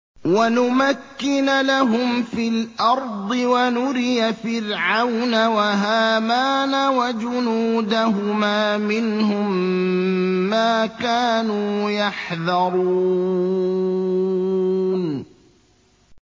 وَنُمَكِّنَ لَهُمْ فِي الْأَرْضِ وَنُرِيَ فِرْعَوْنَ وَهَامَانَ وَجُنُودَهُمَا مِنْهُم مَّا كَانُوا يَحْذَرُونَ